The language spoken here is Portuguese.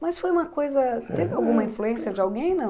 Mas foi uma coisa, aham, teve alguma influência de alguém. não?